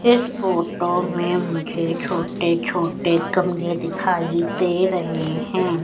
इस फोटो में मुझे छोटे-छोटे कमले दिखाई दे रहें हैं।